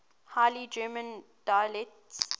high german dialects